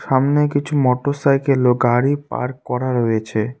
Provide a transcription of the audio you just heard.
সামনে কিছু মোটরসাইকেল ও গাড়ি পার্ক করা রয়েছে।